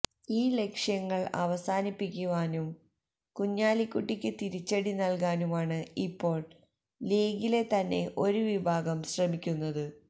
ഈ ലക്ഷ്യങ്ങൾ അവസാനിപ്പിക്കാനും കുഞ്ഞാലിക്കുട്ടിക്ക് തിരിച്ചടി നൽകാനുമാണ് ഇപ്പോൾ ലീഗിലെ തന്നെ ഒരു വിഭാഗം ശ്രമിക്കുന്നത്